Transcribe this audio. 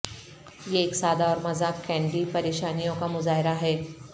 یہ ایک سادہ اور مذاق کینڈی پریشانیوں کا مظاہرہ ہے